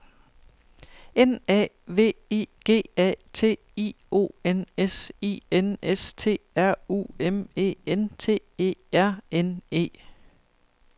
N A V I G A T I O N S I N S T R U M E N T E R N E